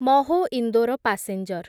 Mhow Indore passenger